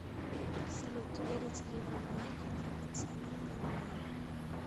салют верите ли вы в магию драгоценных камней